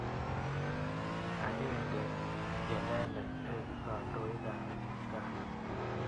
Agenge inendet eng' kandoik ap kipkaa.